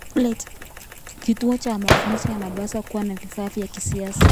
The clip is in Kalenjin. Kituo cha mafunzo kinapaswa kuwa na vifaa vya kisasa.